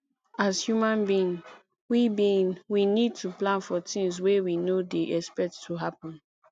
as human being we being we need to plan for things wey we no dey expect to happen